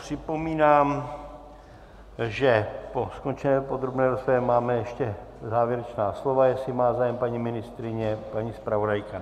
Připomínám, že po skončené podrobné rozpravě máme ještě závěrečná slova, jestli má zájem paní ministryně, paní zpravodajka.